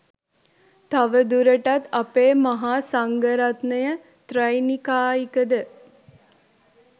තවදුරටත් අපේ මහා සංඝ රත්නය ත්‍රෛනිකායිකද?